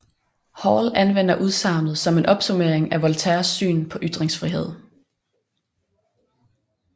Hall anvender udsagnet som en opsummering af Voltaires syn på ytringsfrihed